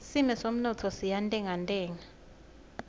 simo semnotfo siyantengantenga